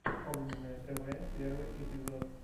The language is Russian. огненное тв первый эпизод